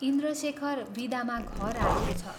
इन्द्रशेखर विदामा घर आएको छ।